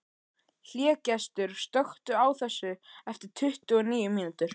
Hlégestur, slökktu á þessu eftir tuttugu og níu mínútur.